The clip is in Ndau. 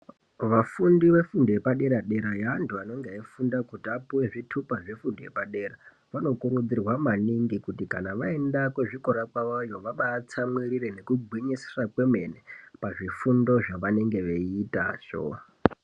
Vafundi vefundo yepadera-dera , yeantu anenga eifunda kuti apuwe zvithupa zvefundo yepadera , vanokurudzirwa maningi kuti kana vaenda kuzvikora kwavoyo vabaatsamwirire nekungwinyisira kwemene, pazvifundo zvavanenge veiitazvo.